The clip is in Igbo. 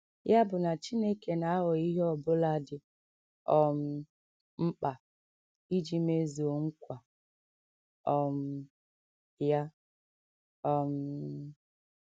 Ya bụ na Chineke na - aghọ ihe ọ bụla dị um mkpa iji mezuo nkwa um ya. um